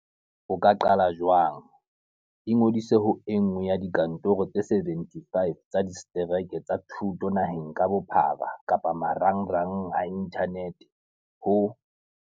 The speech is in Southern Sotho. O ka qala jwang Ingodisa ho e nngwe ya dikantoro tse 75 tsa disetereke tsa thuto naheng ka bophara kapa marangrang a inthanete ho